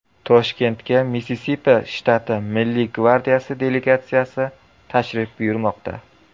Toshkentga Missisipi shtati Milliy gvardiyasi delegatsiyasi tashrif buyurmoqda.